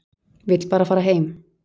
Vill bara fara heim.